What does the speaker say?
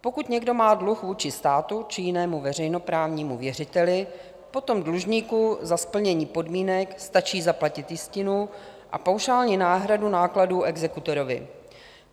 Pokud někdo má dluh vůči státu či jinému veřejnoprávnímu věřiteli, potom dlužníku za splnění podmínek stačí zaplatit jistinu a paušální náhradu nákladů exekutorovi.